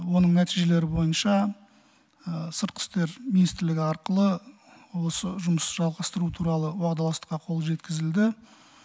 оның нәтижелері бойынша сыртқы істер министрлігі арқылы осы жұмыс жалғастыру туралы уағдаластыққа қол жеткізілді